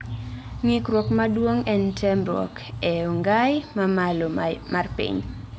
Ng'ikruok maduong' en temrok ee ong'ai mamalo may pich